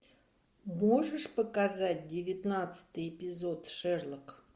можешь показать девятнадцатый эпизод шерлок